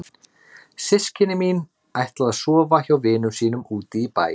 Systkini mín ætla að sofa hjá vinum sínum úti í bæ.